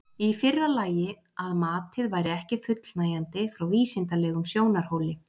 Í fyrra lagi að matið væri ekki fullnægjandi frá vísindalegum sjónarhóli.